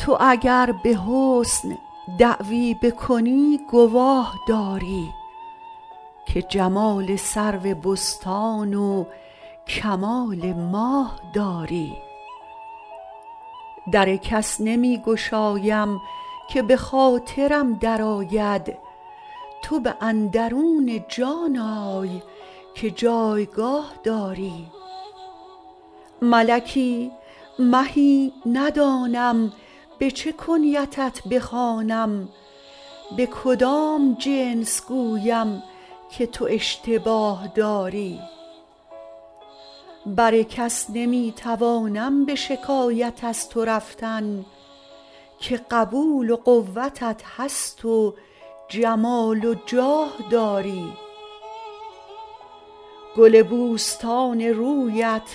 تو اگر به حسن دعوی بکنی گواه داری که جمال سرو بستان و کمال ماه داری در کس نمی گشایم که به خاطرم درآید تو به اندرون جان آی که جایگاه داری ملکی مهی ندانم به چه کنیتت بخوانم به کدام جنس گویم که تو اشتباه داری بر کس نمی توانم به شکایت از تو رفتن که قبول و قوتت هست و جمال و جاه داری گل بوستان رویت